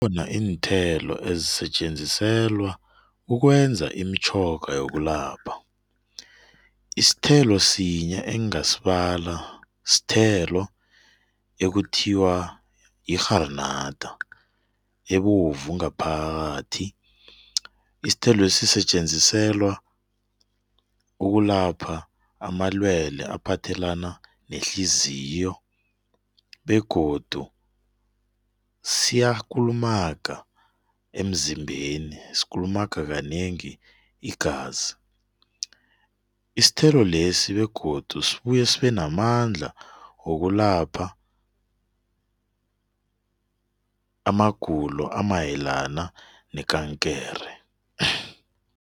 Iinthelo ezisetjenziselwa ukwenza imitjhoga yokulapha. Isithelo sinye engingasibala sithelo ekuthiwa yirharinada ebovu ngaphakathi. Isithelwesi sisetjenziselwa ukulapha amalwele aphathelana nehliziyo, begodu siyakulumaga emzimbeni, sikulumaga kanengi igazi. Isithelo lesi begodu sibuya sibe namandla wokulapha amagulo amayelana nekankere.